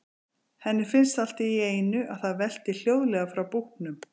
Henni finnst allt í einu að það velti hljóðlega frá búknum.